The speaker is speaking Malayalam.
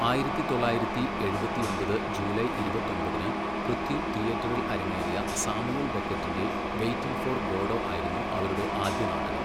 ആയിരത്തി തൊള്ളായിരത്തി എഴുപത്തിഒമ്പത് ജൂലൈ ഇരുപത്തൊമ്പതിന് പൃഥ്വി തിയേറ്ററിൽ അരങ്ങേറിയ സാമുവൽ ബെക്കറ്റിൻ്റെ വെയ്റ്റിംഗ് ഫോർ ഗോഡോ ആയിരുന്നു അവരുടെ ആദ്യ നാടകം.